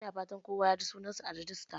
Ina fatan kowa ya ji sunansa daga rajista?